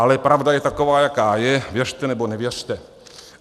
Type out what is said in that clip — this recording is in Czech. Ale pravda je taková, jaká je, věřte nebo nevěřte.